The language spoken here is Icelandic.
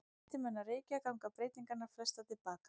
Hætti menn að reykja ganga breytingarnar flestar til baka.